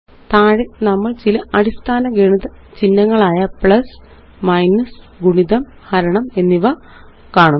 താഴെ നമ്മള് ചില അടിസ്ഥാന ഗണിത ചിഹ്നങ്ങളായ പ്ലസ്മൈനസ് ഗുണിതം ഹരണം എന്നിവ കാണുന്നു